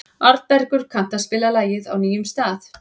Arnbergur, kanntu að spila lagið „Á nýjum stað“?